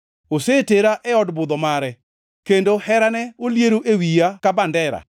Osetera e od budho mare, kendo herane oliero e wiya ka bendera.